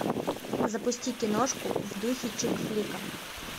запусти киношку в духе чик флика